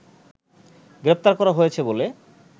গ্রেপ্তার করা হয়েছে বলে